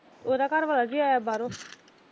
ਉਹਦਾ ਘਰਵਾਲਾ ਵੀ ਆਇਆ ਬਾਹਰੋ।